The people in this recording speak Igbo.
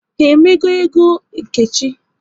Ha emego égo Nkechi?